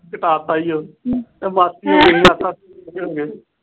ਕਿਤਾਬ ਪਾਈ ਓ।